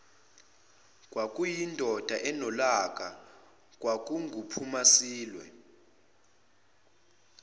kwakuyindoda enolaka kwakunguphumasilwe